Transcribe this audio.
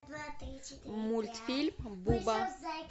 мультфильм буба